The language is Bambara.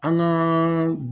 An ka